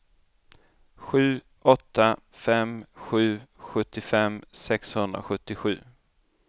sju åtta fem sju sjuttiofem sexhundrasjuttiosju